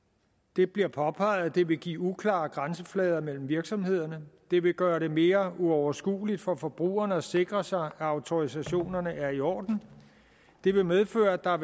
det bliver påpeget at det vil give uklare grænseflader mellem virksomhederne at det vil gøre det mere uoverskueligt for forbrugerne at sikre sig at autorisationerne er i orden at det vil medføre at der